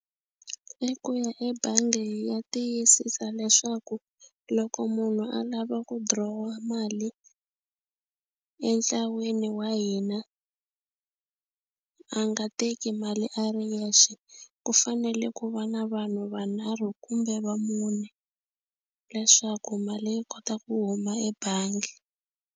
I ku ya ebangi hi ya tiyisisa leswaku loko munhu a lava ku draw-a mali entlaweni wa hina a nga teki mali a ri yexe ku fanele ku va na vanhu vanharhu kumbe va mune leswaku mali yi kota ku huma ebangi.